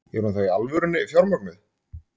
Er hún þá í alvörunni fjármögnuð?